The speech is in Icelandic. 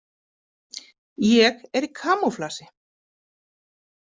Ég er í kamúflasi.